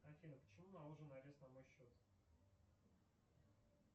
афина почему наложен арест на мой счет